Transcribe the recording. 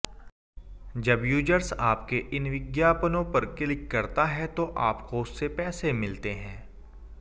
जब यूजर्स आपके इन विज्ञापनों पर क्लिक करता है तो आपको उससे पैसे मिलते हैं